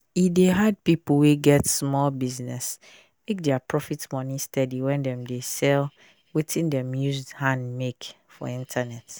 e dey hard pipu wey get sumol business make dia proft money steady when dem dey sell wetin dem use hand make for internet